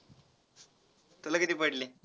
तुला किती पडले.